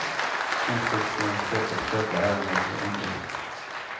Konsthögskolans sätt att sköta ärendet var underligt.